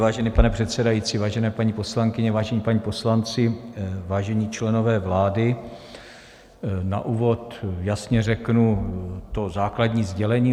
Vážený pane předsedající, vážené paní poslankyně, vážení páni poslanci, vážení členové vlády, na úvod jasně řeknu to základní sdělení.